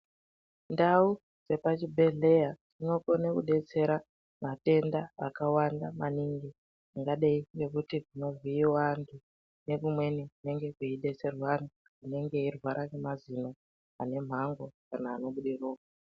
Ndau dzepazvidhedhlera dzinokona kudetsera matenda akawanda maningi angadei nekuti zvinobhiiwa nekumweni kunenge kweidetserwa vantu vanenge veirwara ngemazino kana anobuda ropa.